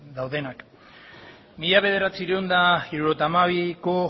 daudenak mila bederatziehun eta hirurogeita hamabiko